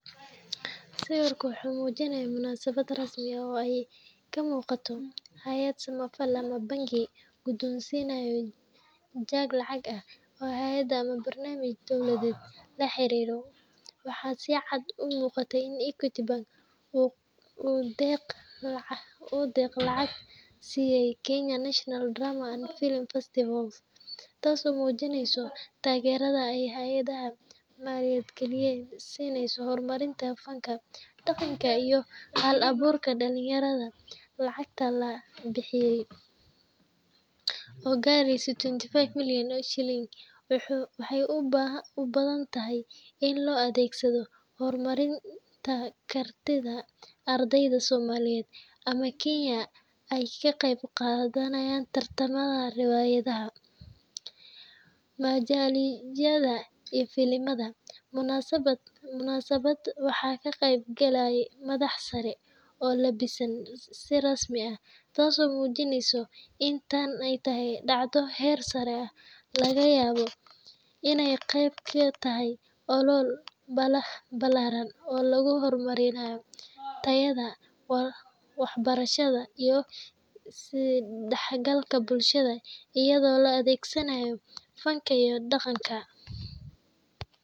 Sawirkan wuxuu muujinayaa munaasabad rasmi ah oo ay ka muuqato hay’ad samafal ama bangi gudoonsiinaya jeeg lacag ah hay’ad ama barnaamij dowladda la xiriira. Waxaa si cad u muuqata in Equity Bank uu deeq lacageed siiyay Kenya National Drama and Film Festivals, taasoo muujinaysa taageerada ay hay’adaha maaliyadeed siinayaan horumarinta fanka, dhaqanka, iyo hal-abuurka dhallinyarada. Lacagta la bixiyay, oo gaaraysa lawatan iyo shan milyan oo shilin, waxay u badan tahay in loo adeegsado horumarinta kartida ardayda Soomaaliyeed ama Kenyan ah ee ka qayb qaadanaya tartamada riwaayadaha, majaajilada iyo filimada. Munaasabadda waxaa ka qaybgalay madax sare oo labbisan si rasmi ah, taasoo muujinaysa in tani tahay dhacdo heer sare ah, lagana yaabo inay qayb ka tahay olole ballaaran oo lagu horumarinayo tayada waxbarashada iyo is-dhexgalka bulshada iyada oo la adeegsanayo fanka iyo dhaqanka.